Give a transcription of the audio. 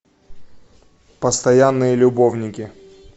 постоянные любовники